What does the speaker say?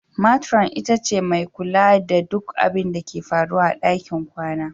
Metiron ita ce mai lura da duk abinda ke faruwa a ɗakin kwana.